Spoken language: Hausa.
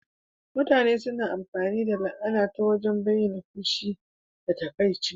Mutane suna amfani da la'ana ta wajen bayyana fushi da takaici.